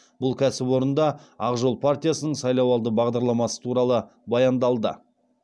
бұл кәсіпорында ақ жол партиясының сайлауалды бағдарламасы туралы баяндалды